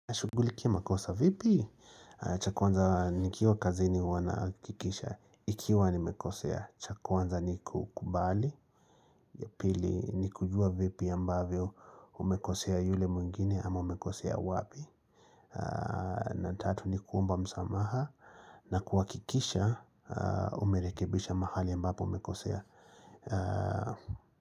Shugulikia makosa vipi cha kwanza nikiwa kazini huwa na hakikisha Ikiwa nimekosea cha kwanza uanza ni kukubali ya pili ni kujua vipi ambavyo umekosea yule mwingine ama umekosea wapi na tatu ni kuomba msamaha na kuhakikisha umerekibisha mahali ambapo umekosea.